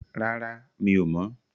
Rárá, mi ò mọ̀.